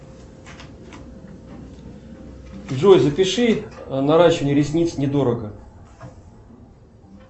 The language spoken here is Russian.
джой запиши наращивание ресниц недорого